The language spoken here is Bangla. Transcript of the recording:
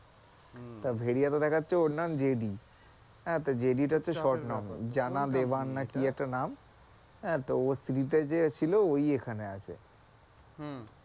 তা ভেড়িয়া তে দেখাচ্ছে ওর নাম জেনি, হ্যাঁ জেনি টা হচ্ছে short নাম। জানা দেবান নাকি একটা নাম হ্যাঁ স্ত্রী তে যে ছিল ঐ এখানে আছে। হম